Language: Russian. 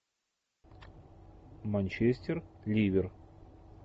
манчестер ливер